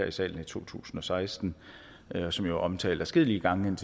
i salen i to tusind og seksten og som jo omtalt adskillige gange